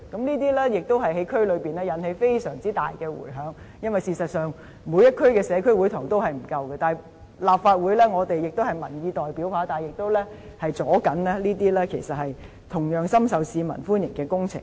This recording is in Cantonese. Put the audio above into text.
這些議題在區內也引起非常大的迴響，因為事實上，每區的社區會堂均不足夠，我們是民意代表，但立法會也同樣是在阻礙這些深受市民歡迎的工程進行。